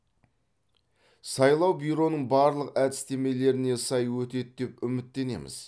сайлау бюроның барлық әдістемелеріне сай өтеді деп үміттенеміз